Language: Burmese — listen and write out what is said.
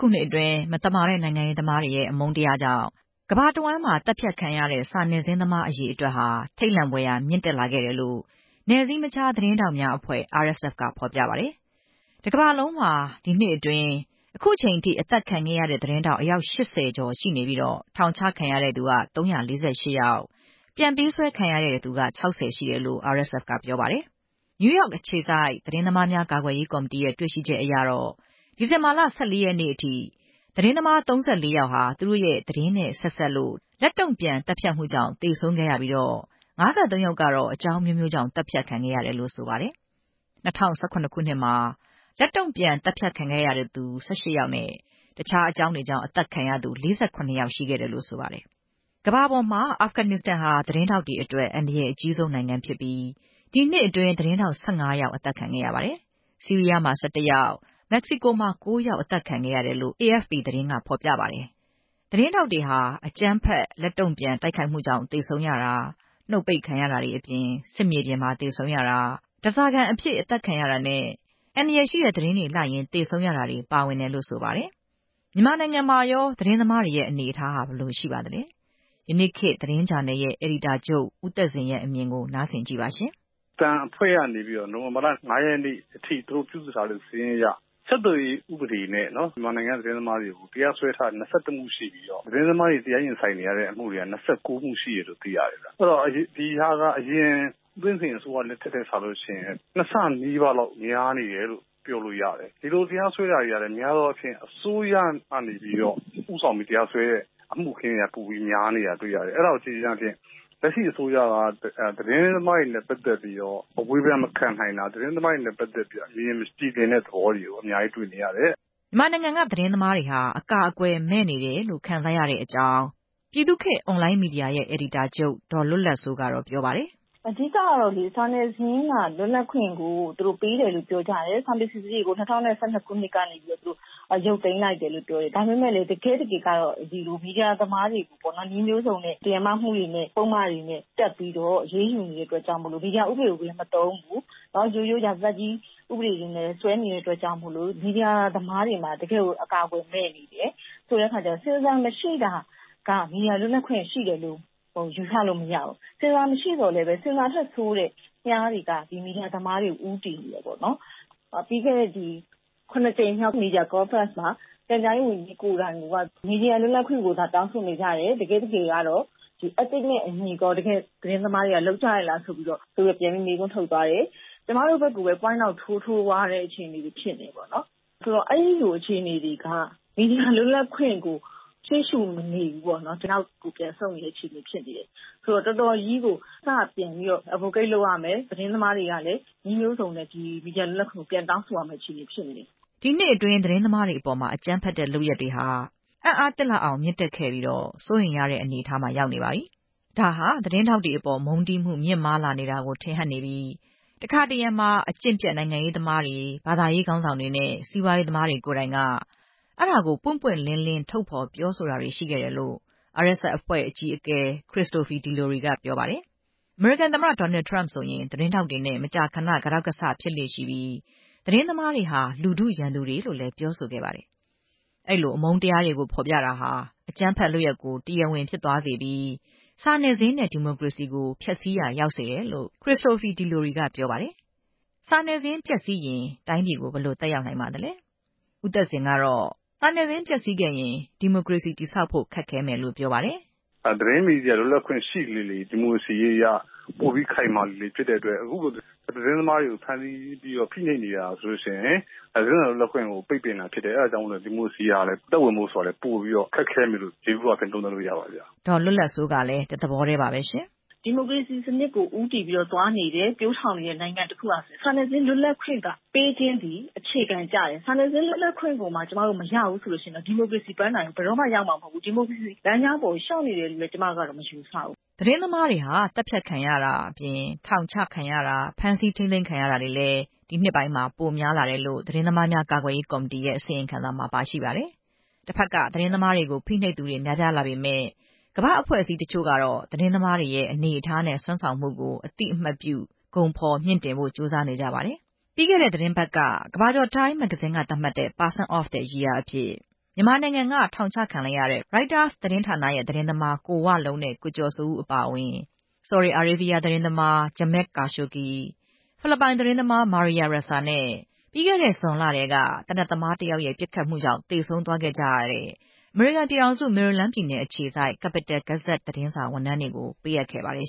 ခုနှစ်အတွင်း မသမာတဲ့ နိုင်ငံရေးသမားတွေရဲ့ အမုန်းတရားကြောင့် ကမ္ဘာတဝှမ်း သတ်ဖြတ်ခံခဲ့ရတဲ့ စာနယ်ဇင်းသမားအရေအတွက် ထိတ်လန့်ဖွယ်ရာမြင့်တက်လာခဲ့တယ်လို့ နယ်စည်းမခြားသတင်းထောက်များ အဖွဲ့ RSF က ဖေါ်ပြပါတယ်။ တစ်ကမ္ဘာလုံးမှာ ဒီနှစ်အတွင်း အခုထိအသတ်ခံခဲ့ရတဲ့ သတင်းထောက် အယောက် ၈ဝ ရှိပြီး၊ ထောင်ချခံရသူ ၃၄၈ ဦး၊ ပြန်ပေးဆွဲခံရသူ ၆ဝ ရှိတယ်လို့ RSF က ပြောပါတယ်။ နယူးယောက်အခြေစိုက် သတင်းသမားများကာကွယ်ရေးကော်မတီရဲ့တွေ့ရှိချက်အရတော့ ဒီဇင်ဘာလ ၁၄ ရက်နေ့အထိ သတင်းသမား ၃၄ ယောက်ဟာ သူတို့ရဲ့သတင်းနဲ့ဆက်စပ်လို့ လက်တုန့်ပြန်သတ်ဖြတ်မှုကြောင့် သေဆုံးခဲ့ရပြီး ၅၃ ယောက်ကတော့ အကြောင်းအမျိုးမျိုးကြောင့် သတ်ဖြတ်ခံရတယ်လို့ ဆိုပါတယ်။ ၂ဝ၁၇ ခုနှစ်မှာတုန်းက လက်တုန့်ပြန်သတ်ဖြတ်ခံရသူ ၁၈ ယောက်နဲ့ တခြားအကြောင်းတွေနဲ့ အသတ်ခံရသူ ၄၇ ယောက်ရှိခဲ့တယ်လို့ ဆိုပါတယ်။ အာဖဂန်နစ္စတန် ဟာ သတင်းထောက်တွေအတွက် အန္တရာယ်အကြီးဆုံးနိုင်ငံဖြစ်ပြီး၊ ဒီနှစ်အတွင်း သတင်း ထောက် ၁၅ ဦး အသတ်ခံခဲ့ရပါတယ်။ ဆီးရီးယား မှာ ၁၁ ယောက်၊ မက္ကဆီကိုမှာ ၉ ယောက် အသတ်ခံခဲ့ရတယ်လို့ AFP သတင်းကဖော်ပြပါတယ်။ သတင်းထောက်တွေဟာ အကြမ်းဖက် လက်တုန့်ပြန်တိုက်ခိုက်မှုကြောင့် သေဆုံးရတာ၊ နှုတ်ပိတ်ခံရတာတွေ အပြင် ၊ စစ်မြေပြင်မှာ သေဆုံးရတာ၊ ဓားစာခံအဖြစ်အသတ်ခံရတာနဲ့ အန္တရာယ်ရှိတဲ့သတင်းတွေလိုက်ရင်း သေဆုံးရတာတွေပါဝင်တယ်လို့ ဆိုပါတယ်။ မြန်မာနိုင်ငံမှာ ရောသတင်းသမားတွေရဲ့အနေအထားဟာဘယ်လိုရှိပါသလဲ။ ယနေ့ခေတ် သတင်းဂျာနယ် အယ်ဒီတာချုပ် ဦးသက်ဇင်ပြောပြတာကို နားဆင်ကြည့်ပါ။ “အသံအဖွဲ့ကနေပြီးတော့ နိုဝင်ဘာလ ၅ ရက်နေ့ထိ သူတို့ပြုစုထားတဲ့စာရင်းအရ ဆက်သွယ်ရေးဥပဒေနဲ့ မြန်မာနိုင်ငံက သတင်းသမားတွေကို တရားစွဲထားတဲ့အမှု ၂၁ မှုရှိပြီးတော့ သတင်းသမားတွေတရားရင်ဆိုင်နေရတာ ၂၉ မှုရှိတယ်လို့သိရတယ်။ ဒီဟာက ဦးသိန်းစိန်အစိုး၇လက်ထက်နဲ့စာရင် နှစ်ဆနီးပါးလောက်များနေတယ်လိုပ ပြောလို့ရတယ်။ ဒီလိုတရားစွဲတာတွေကလည်း အစိုးရကဦးဆောင်ပြီး တရားစွဲတာပိုပြီးတော့များနေတာတွေ့ရတယ်။ အဲဒါကိုကြည့်ခြင်းအားဖြင့် လက်ရှိအစိုးရက သတင်းသမားတွေနဲ့ပတ်သက်ပြီးတော့ အဝေဖန်မခံနိုင်တာ၊ သတင်းသမားတွေနဲ့ပတ်သက်ပြီးတော့ အမြင်မကြည်လင်တဲ့ သဘောတွေကို အများကြီးတွေ့နေရတယ်” မြန်မာ့ခေတ်အွန်လိုင်းမီဒီယာရဲ့အယ်ဒီတာချုပ် ဒေါ်လွတ်လပ်စိုးကတော့ သတင်းသမားတွေဟာ အကာအကွယ်မဲ့နေတယ် လို့ ခံစားနေရတယ်လို့ပြောပါတယ်။ “အဓိကကတော့ စာနယ်ဇင်းလွတ်လပ်ခွင့်ကို သူတို့ပေးတယ်လို့ပြောတယ်။ ၂ဝ၁၂ ခုနှစ်မှာ စာပေစီစစ်ရေးကို ရုပ်သိမ်းလိုက်တယ်။ ဒါပေမဲ့ တကယ့်တကယ်ကကျတော့ စာနယ်ဇင်းသမားတွေကို ဥပဒေပုဒ်မတွေတပ်ပြီး အရေးယူနေတဲ့အတွက်ကြောင့်၊ မီဒီယာဥပဒေကိုလည်းမသုံးဘူး။ ရိုးရိုးရာဇသတ်ကြီးဥပဒေတွေနဲ့စွဲနေတဲ့ အတွက်ကြောင့် မီဒီယာသမားတွေမှာ တကယ်ကို အကာအကွယ်မဲ့နေတယ်။ ဆိုတော့ ဆင်ဆာမရှိတာက မီဒီယာလွတ်လပ်ခွင့်ရှိတာလို့ ယူဆလို့မရဘူး။ ဆင်ဆာမရှိသော်လည်း ဆင်ဆာထက်ဆိုးတဲ့မြှားတွေက မီဒီယာသမားတွေကို ဦးတည်နေတယ်။ ပြီးခဲ့တဲ့ ၇ ကြိမ်မြောက် မီဒီယာကွန်ဖရင့်မှာ ပြန်ကြားရေးဝန်ကြီး ကိုယ်တိုင်က သတင်းလွတ်လပ်ခွင့်ကိုတော့ တောင်းဆိုနေကြတယ်၊ Ethic နဲ့အညီကောသတင်းသမားတွေက လုပ်ကြရဲ့လားလို့ ပြန်ပြီးမေးခွန်းထုတ်သွားတယ်။ ကျမတို့ဘက်ကိုပဲ Point out ထိုးထိုးသွားတဲ့အခြေအနေတွေ ဖြစ်နေတယ်ပေါ့။ ဆိုတော့ အဲဒီအခြေအနေတွေက မီဒီယာလွတ်လပ်ခွင့်ကို ရရှိမနေဘူးပေါ့နော်။ နောက်ကိုပြန်ဆုတ်နေတဲ့အခြေအနေဖြစ်နေတယ်။ ဆိုတော့ အစကပြန်ပြီး advocate လုပ်ရမယ်။ သတင်း သမားတွေကလည်း မီဒီယာလွတ်လပ်ခွင့်ကို အစကပြန်ပြီးတောင်းဆိုရမယ့် အခြေအနေဖြစ်နေတယ်” ဒီနှစ်အတွင်း သတင်းသမားတွေအပေါ် အကြမ်းဖက်တဲ့လုပ်ရပ်တွေ အံ့အားသင့်လောက်အောင် မြင့်တက်လာ ခဲ့ပြီး၊ စိုးရိမ်ရတဲ့အနေအထားမှာရောက်နေပါပြီ၊ ဒါဟာ သတင်းထောက်တွေအပေါ် မုန်းတီးမှုမြင့်မားလာနေတာ ကို ထင်ဟပ်နေပြီး၊ တခါတရံ အကျင့်ပျက်နိုင်ငံရေးသမားတွေ၊ ဘာသာရေးခေါင်းဆောင်တွေနဲ့စီးပွားရေးသမား တွေကိုယ်တိုင်က ပွင့်ပွင့်လင်းလင်းထုတ်ဖော် ပြောဆိုတာတွေရှိခဲ့တယ်လို့ RSF အဖွဲ့ အကြီးအကဲ ခရစ်စတိုဖီ ဒီလိုရီ က ပြောပါတယ်။ အမေရိကန်သမ္မတ ဒေါ်နယ်ထရမ့် ဆိုရင် သတင်းထောက်တွေနဲ့ မကြာခဏ ကတောက်ကဆဖြစ်လေ့ရှိပြီး၊ သတင်းသမားတွေဟာ လူထုရန်သူတွေလို့လည်း ပြောဆိုခဲ့ပါတယ်။ အမုန်း တရားတွေကိုဖော်ပြတာဟာ အကြမ်းဖက်လုပ်ရပ်ကို တရားဝင်ဖြစ်သွားစေတတ်ပြီး၊ စာနယ်ဇင်းနဲ့ ဒီမိုကရေစီကို ဖျက်ဆီးရာရောက်တယ်လို့ ခရစ်စတိုဖီ ဒီလိုရီ က ပြောပါသေးတယ်။ စာနယ်ဇင်းပျက်စီးရင် တိုင်းပြည်ကို ဘယ်လိုသက်ရောက်နိုင်ပါသလဲ။ ဦးသက်ဇင်ကတော့ စာနယ်ဇင်းပျက်စီး ရင် ဒီမိုကရေစီတည်ဆောက်ဖို့ ခက်ခဲမယ်လို့ ပြောပါတယ်။ “သတင်းမီဒီယာလွတ်လပ်ခွင့်ရှိလေလေ ဒီမိုကရေစီက ပိုပြီးခိုင်မာလေလေဖြစ်တဲ့အတွက် ခုလိုသတင်းသမား တွေကိုဖမ်းဆီးနေတာဟာ သတင်းစာလွတ်လပ်ခွင့်ကို ပိတ်ပင်နေတာဖြစ်တယ်။ အဲဒါကြောင့်မို့လို့လည်း ဒီမိုကရေစီကအသက်ဝင်ဖို့ ပိုလို့ခက်ခဲမယ်လို့ ယေဘူယျအားဖြင့် သုံးသပ်လို့ရပါတယ်” ဒေါ်လွတ်လပ်စိုးကလည်း တသဘောထဲပါပဲ။ “ဒီမိုကရေစီစနစ်ဆီ ဦးတည်သွားနေတဲ့၊ ပျိုးထောင်နေတဲ့ နိုင်ငံတခုအနေနဲ့ စာနယ်ဇင်းလွတ်လပ်ခွင့်ပေးခြင်းသည် အခြေခံကျတယ်။ စာနယ်ဇင်းလွတ်လပ်ခွင့်မှ ကျမတို့မရဘူးဆိုရင်တော့ ဒီမိုကရေစီပန်းတိုင်ကို ဘယ်တော့မှ ရောက်မှာမဟုတ်ဘူး။ ဒီမိုကရေစီလမ်းကြောင်းပေါ်လျှောက်နေတယ်လို့လည်း ကျမကတော့ မယူဆဘူး။” သတင်းသမားတွေဟာ သတ်ဖြတ်ခံရတာအပြင် ထောင်ချတာ၊ ဖမ်းဆီးထိန်းသိမ်းခံရတာတွေလည်း ပိုများလာတယ်လို့ သတင်းသမားများကာကွယ်ရေးကော်မီတီရဲ့အစီရင်ခံစာမှာ ပါရှိပါတယ်။ တဘက်က သတင်းသမားတွေကို ဖိနှိပ်သူတွေ များပြားလာပေမယ့် ကမ္ဘာ့အဖွဲ့အစည်းတချို့ကတော့ သတင်းသမားတွေရဲ့အနေအထားနဲ့ စွမ်းဆောင်မှုကို အသိအမှတ်ပြု ဂုဏ်ဖော်မြှင့်တင်ဖို့ ကြိုးစားနေကြပါတယ်။ ပြီးခဲ့တဲ့သီတင်းပတ်က ကမ္ဘာကျော်တိုင်းမ် မဂ္ဂဇင်းက "person of the year" ဆုကို မြန်မာနိုင်ငံက ထောင်ချခံလိုက်ရတဲ့ ရိုက်တာစ်သတင်းဌာနရဲ့ သတင်းသမား ကိုဝလုံးနဲ့ ကိုကျော်စိုးဦးအပါအဝင် ဆော်ဒီအာရေးဗီးယား သတင်းသမား ဂျမဲ့ ကာရှိုဂီ နဲ့ ဖိလစ်ပိုင်သတင်းသမား မာရီယာရက်စာ နဲ့ ပြီးခဲ့တဲ့ဇွန်လက သေနတ်သမား တယောက်ရဲ့ပစ်ခတ်မှုနဲ့ သေဆုံးဒဏ်ရာရသွားကြရတဲ့ အမေရိကန်ပြည်ထောင်စု မေရီလန်းပြည်နယ်အခြေစိုက် Capital Gazette သတင်းစာ ဝန်ထမ်းတွေကိုပေးအပ်ခဲ့ပါတယ်